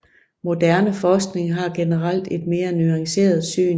Moderne forskning har generelt et mere nuanceret syn